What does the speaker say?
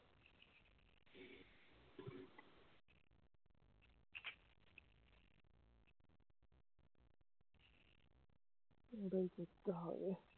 এটাই করতে হবে